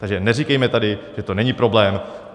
Takže neříkejme tady, že to není problém.